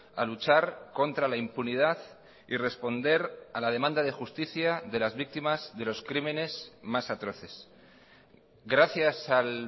a luchar contra la impunidad y responder a la demanda de justicia de las víctimas de los crímenes más atroces gracias al